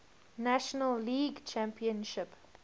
national league championship